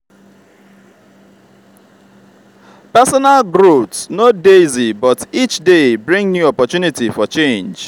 personal growth no dey easy but each day bring new opportunity for change.